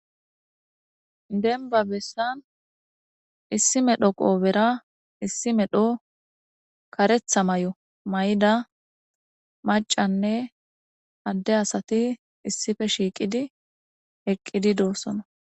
denba bessan issi medho qoobera issi medho karetha may7o may7ida macanne adde asati issife shiiqidi eqqidi doossona